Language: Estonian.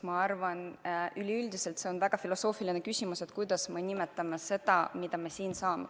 Ma arvan, et üldiselt see on väga filosoofiline küsimus, kuidas me nimetame seda, mida me siin saame.